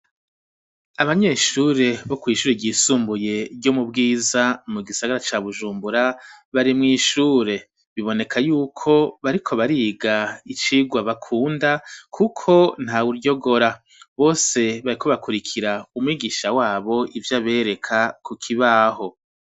Abanyeshure bo kw'ishure ryisumbuye ryo mu bwiza mu gisagara cya bujumbura bari mu ishure biboneka yuko bariko bariga icigwa bakunda kuko nta uryogora bose bari ko bakurikira umigisha wabo ivyo abereka ku kibaho.